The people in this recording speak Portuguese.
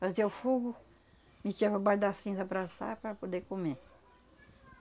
Fazia o fogo, metia por baixo da cinza para assar para poder comer.